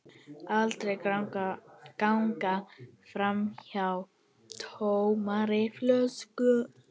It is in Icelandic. Aldrei ganga framhjá tómri flösku.